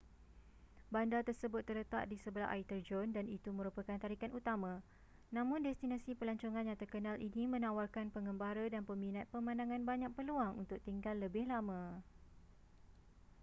bandar tersebut terletak di sebelah air terjun dan itu merupakan tarikan utama namun destinasi pelancongan yang terkenal ini menawarkan pengembara dan peminat pemandangan banyak peluang untuk tinggal lebih lama